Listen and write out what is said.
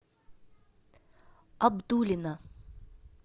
абдулино